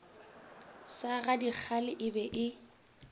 sa gadikgale e be e